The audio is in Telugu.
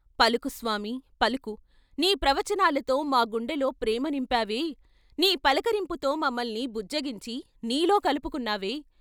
"పలుకు స్వామి ! పలుకు, నీ ప్రవచనాలతో మా గుండెలో ప్రేమ నింపావే, నీ పలకరింపుతో మమ్మల్ని బుజ్జగించి నీలో కలుపుకున్నావే!